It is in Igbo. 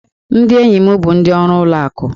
Ndị enyi m bụ ndị ọrụ ụlọ akụ